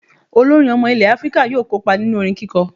Olórin ọmọ ilẹ̀ Áfíríkà yóò kópa nínú orin kíkọ